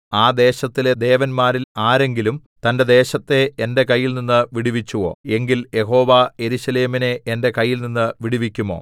ആ ദേശങ്ങളിലെ ദേവന്മാരിൽ ആരെങ്കിലും തന്റെ ദേശത്തെ എന്റെ കയ്യിൽനിന്ന് വിടുവിച്ചുവോ എങ്കിൽ യഹോവ യെരൂശലേമിനെ എന്റെ കയ്യിൽനിന്നും വിടുവിക്കുമോ